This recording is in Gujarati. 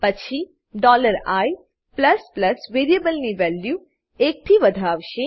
પછી i વેરીએબલની વેલ્યુ એકથી વધાવશે